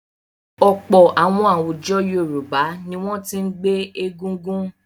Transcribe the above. Ọ̀pọ̀ àwọn àwùjọ Yorùbá ni wọ́n ti ń gbé Egungun.